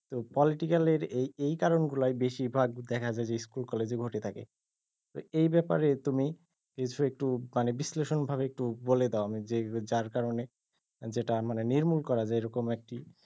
তো political এর এই এই কারন গুলায় বেশিরভাগ দেখা যায় যে school college এ ঘটে থাকে তো এই ব্যাপারে তুমি কিছু একটু মানে বিশ্লেষণ ভাবে একটু বলে দাও যে যার কারনে, যেটা মানে নির্মূল করা যায় এরকম একটি,